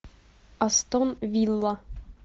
астон вилла